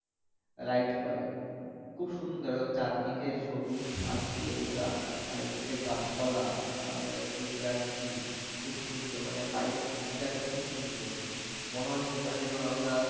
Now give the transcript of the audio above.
ride করে খুব সুন্দর এবং চারদিকে সবুজ ঘাস দিয়ে মোড়া চারদিকে গাছপালা টেনেলের মধ্য দিয়ে যাচ্ছি খুব সুন্দর মানে বাইর টা একদম খুব মনে হচ্ছে না যেন আমরা।